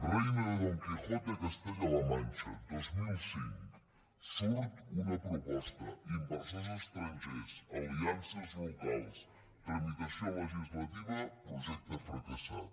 reino de don quijote a castella la manxa dos mil cinc surt una proposta inversors estrangers aliances locals tramitació legislativa projecte fracassat